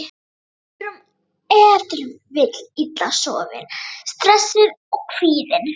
Við erum ef til vill illa sofin, stressuð og kvíðin.